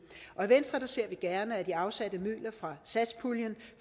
i venstre ser vi gerne at de afsatte midler fra satspuljen